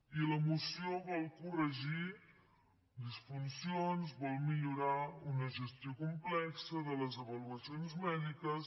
i la moció vol corregir disfuncions vol millorar una gestió complexa de les avaluacions mèdiques